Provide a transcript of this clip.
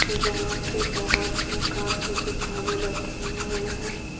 जहाँ की बहोत प्रकार के किताबें रखे हुए हैं।